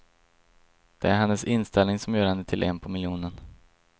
Det är hennes inställning som gör henne till en på miljonen.